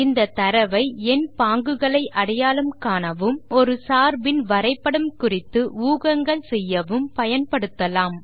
இந்த தரவை எண் பாங்குகளை அடையாளம் காணவும் மற்றும் ஒரு சார்பின் வரைப்படம் குறித்து ஊகங்கள் செய்யவும் பயன்படுத்தலாம்